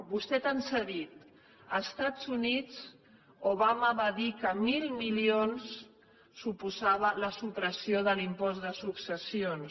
vostè ens ha dit als estats units obama va dir que mil milions suposava la supressió de l’impost de successions